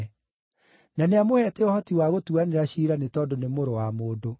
Na nĩamũheete ũhoti wa gũtuanĩra ciira nĩ tondũ nĩ Mũrũ wa Mũndũ.